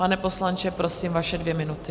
Pane poslanče, prosím, vaše dvě minuty.